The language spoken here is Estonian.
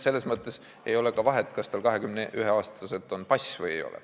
Selles mõttes ei ole ka vahet, kas tal 21-aastaselt on pass või ei ole.